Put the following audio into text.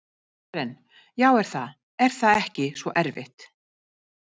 Karen: Já er það, er það ekki svo erfitt?